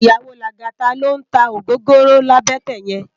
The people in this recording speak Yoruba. Iyàwó Lagata ló n tá ógógóró làbètè yèn